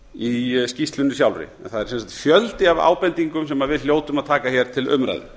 í skýrslunni sjálfri það er sem sagt fjöldi af ábendingum sem við hljótum að taka hér til umræðu